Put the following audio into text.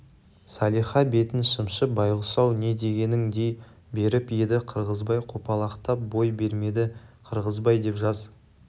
салиха бетін шымшып байғұс-ау не дегенің дей беріп еді қырғызбай қопалақтап бой бермеді қырғызбай деп жаз